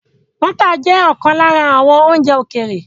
Bọ́tà jẹ́ ọ̀kan lára àwọn oúnjẹ ókéré